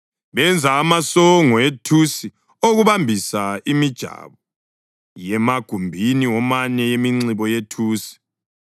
Benza amasongo ethusi okubambisa imijabo yemagumbini womane yeminxibo yethusi.